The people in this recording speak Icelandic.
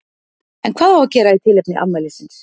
En hvað á að gera í tilefni afmælisins?